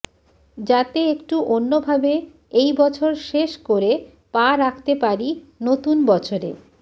যাতে একটু অন্য ভাবে এই বছর শেষ করে পা রাখতে পারি নতুন বছরে